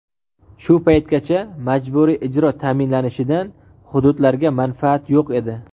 Shu paytgacha majburiy ijro ta’minlanishidan hududlarga manfaat yo‘q edi.